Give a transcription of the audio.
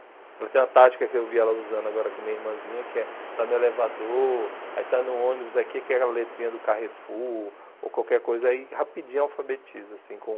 Ela tem uma tática que eu vi ela usando agora com minha irmãzinha, que é... Está no elevador, aí está no ônibus, aí quer aquela letrinha do Carrefour, ou qualquer coisa aí, rapidinho alfabetiza, assim, com...